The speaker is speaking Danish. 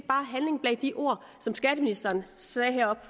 bare handling bag de ord som skatteministeren sagde heroppe